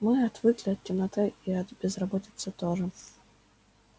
мы отвыкли от темноты и от безработицы тоже